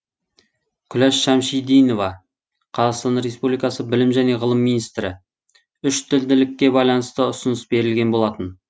күләш шәмшидинова қазақстан республикасы білім және ғылым министрі үштілділікке байланысты ұсыныс берілген болатын